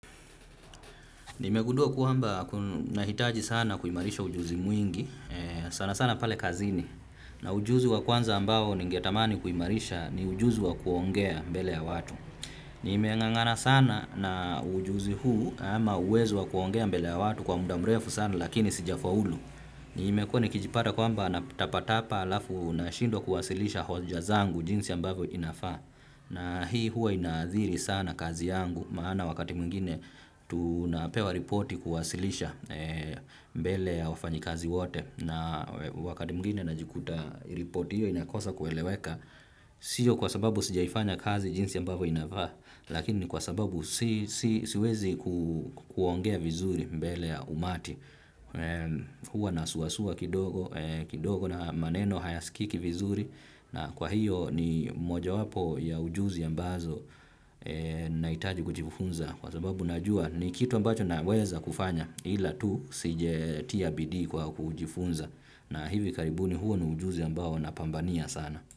Nimegundua kwamba nahitaji sana kuimarisha ujuzi mwingi, sana sana pale kazini, na ujuzi wa kwanza ambao ningetamani kuimarisha ni ujuzi wa kuongea mbele ya watu. Nimeng'ang'ana sana na ujuzi huu ama uwezo wa kuongea mbele ya watu kwa muda mrefu sana lakini sijafaulu. Nimekua nikijipata kwamba natapatapa alafu nashindwa kuwasilisha hoja zangu jinsi ambavyo inafaa. Na hii huwa inaadhiri sana kazi yangu maana wakati mwingine tunapewa ripoti kuwasilisha mbele ya wafanyi kazi wote na wakati mwingine najikuta ripoti hiyo inakosa kueleweka sio kwa sababu sijaifanya kazi jinsi ambapo inafaa lakini kwa sababu siwezi kuongea vizuri mbele ya umati. Huwa nasuasua kidogo na maneno hayasikiki vizuri na kwa hiyo ni moja wapo ya ujuzi ambazo nahitaji kujifunza kwa sababu najua ni kitu ambacho naweza kufanya ila tu sijatia bidii kwa kujifunza na hivi karibu ni huo ni ujuzi ambazo napambania sana.